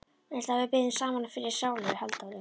Viltu að við biðjum saman fyrir sálu Halldóru?